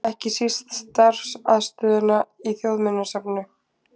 Ekki síst starfsaðstöðuna í Þjóðminjasafninu.